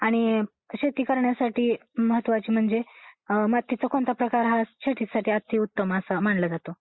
आणि शेती करण्यासाठी महत्त्वाचे म्हणजे मातीचा कोणता प्रकार हा शेतीसाठी अति उत्तम असा मानला जातो .